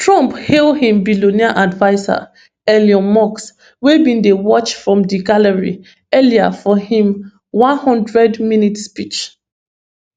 trump hail im billionaire adviser elon musk wey bin dey watch from di gallery early for im one hundred minute speech